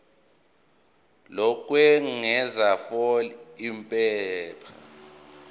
lokwengeza fal iphepha